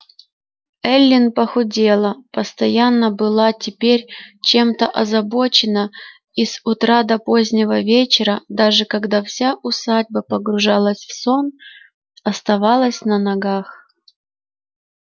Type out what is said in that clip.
эллин похудела постоянно была теперь чем-то озабочена и с утра до позднего вечера даже когда вся усадьба погружалась в сон оставалась на ногах